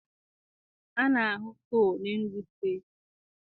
A na-ahụ coal n'Enugwu steeti.